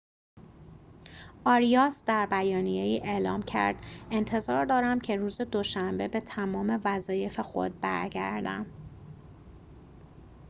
آریاس در بیانیه‌ای اعلام کرد انتظار دارم که روز دوشنبه به تمام وظایف خود برگردم